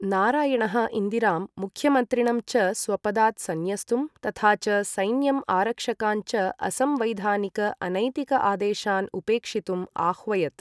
नारायणः इन्दिरां मुख्यमन्त्रिणं च स्वपदात् संन्यस्तुं, तथा च सैन्यम् आरक्षकान् च असंवैधानिक अनैतिक आदेशान् उपेक्षितुम् आह्वयत्।